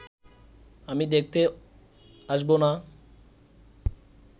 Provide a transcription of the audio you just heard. আমি দেখতে আসব না